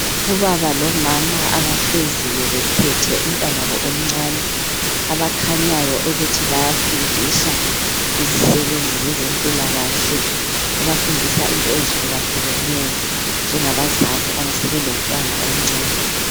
Ubaba lomama abahleziyo bephethe umntanabo omncani. Abakhanyayo ukuthi bayafundiswa yizisebenzi zezempilakahle, bebafundisa into ezihlukahlukeneyo njengabazali abasebelomtwana omncani.